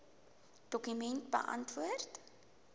dokument beantwoord